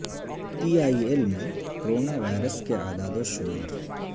P I L میں corona virus کے اعداد وشمار